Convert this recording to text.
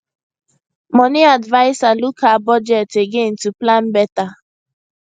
money adviser look her budget again to plan better